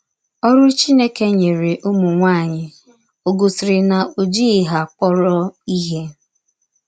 Ọrụ Chineke nyere ụmụ nwaanyị ò gosiri na o jighị ha kpọrọ ihe?